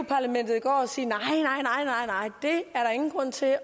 parlamentet i går og sige nej nej det er der ingen grund til